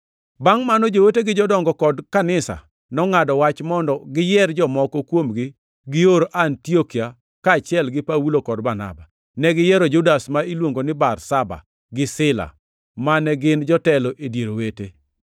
Bangʼ mano joote gi jodongo kod kanisa, nongʼado wach mondo giyier jomoko kuomgi gior Antiokia kaachiel gi Paulo kod Barnaba. Ne giyiero Judas ma niluongo ni Barsaba gi Sila, mane gin jotelo e dier owete.